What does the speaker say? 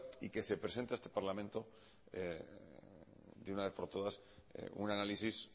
y que se presente a este parlamento de una vez por todas un análisis